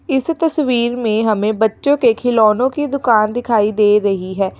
इस तस्वीर में हमें बच्चों के खिलौनो की दुकान दिखाई दे रही है।